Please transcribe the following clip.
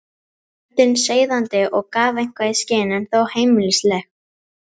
Röddin seiðandi og gaf eitthvað í skyn, en þó heimilisleg.